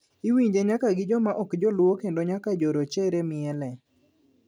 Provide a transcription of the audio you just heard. Iwinje nyaka gi joma ok joluo kendo nyaka jo rochere miele.